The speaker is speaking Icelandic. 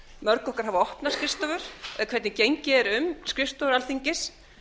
mörg okkar hafa opnar skrifstofur eða hvernig gengið er um skrifstofu alþingis